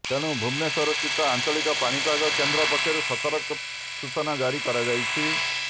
ତେଣୁ ଭୁବନେଶ୍ୱର ସ୍ଥିତ ଆଞ୍ଚଳିକ ପାଣିପାଗ କେନ୍ଦ୍ର ପକ୍ଷରୁ ସତର୍କ ସୂଚନା ଜାରି କରାଯାଇଛି